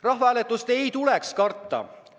Rahvahääletust ei maksaks karta.